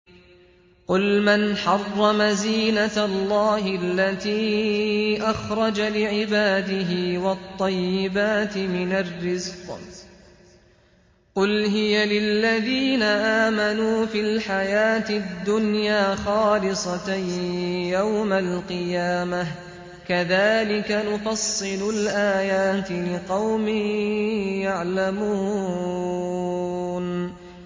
قُلْ مَنْ حَرَّمَ زِينَةَ اللَّهِ الَّتِي أَخْرَجَ لِعِبَادِهِ وَالطَّيِّبَاتِ مِنَ الرِّزْقِ ۚ قُلْ هِيَ لِلَّذِينَ آمَنُوا فِي الْحَيَاةِ الدُّنْيَا خَالِصَةً يَوْمَ الْقِيَامَةِ ۗ كَذَٰلِكَ نُفَصِّلُ الْآيَاتِ لِقَوْمٍ يَعْلَمُونَ